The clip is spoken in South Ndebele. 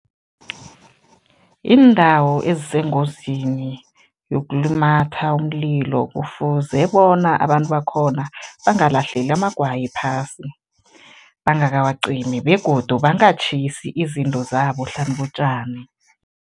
Iindawo ezisengozini yokulumatha umlilo kufuze bona abantu bakhona bangalahleli amagwayi phasi bangakawacimi begodu bangatjhisi izinto zabo hlanu kotjani.